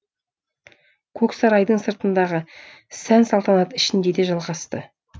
көксарайдың сыртындағы сән салтанат ішінде де жалғасты